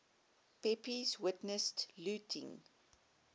pepys witnessed looting